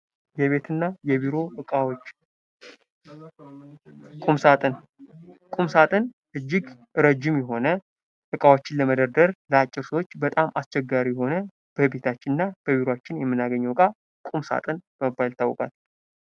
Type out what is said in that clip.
የቤትና የቢሮ እቃዎች ቁምሳጥን ቁምሳጥን እጅግ እረጂም የሆነ ዕቃዎችን ለመደርደር ለአጭር ሰዎች እጅግ አስቸጋሪ የሆነ በቤታችንና በቢሮአችን የምናገኘው ዕቃ ቁምሳጥን በመባል ይታወቃል ::